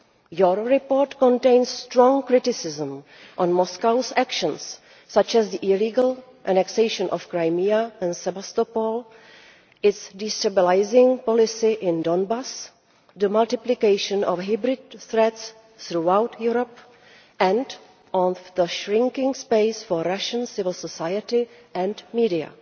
Your report contains strong criticism of Moscow's actions such as the illegal annexation of Crimea and Sevastopol, its destabilising policy in Donbas, the multiplication of hybrid threats throughout Europe and the shrinking space for Russian civil society and media.